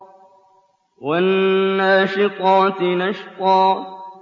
وَالنَّاشِطَاتِ نَشْطًا